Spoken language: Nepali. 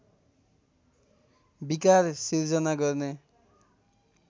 विकार सिर्जना गर्ने